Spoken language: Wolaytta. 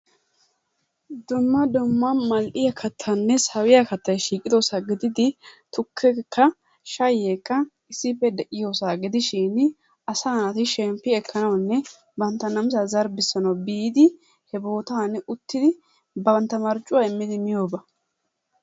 Dumma dumma mal'iyaanne sawiyiyaa kattaay de'iyosa gididi tukkekka shayekkaa issippee de'iyosaa gidishin asaa naatti shempi ekanawunne banttaa namissaa zarbisanawu biddi hee bottanni uttiddi bantta marccuwa immidi miyobaa.